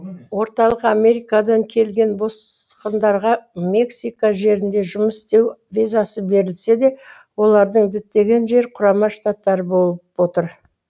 орталық америкадан келген босқындарға мексика жерінде жұмыс істеу визасы берілсе де олардың діттеген жері құрама шаттары болып отыр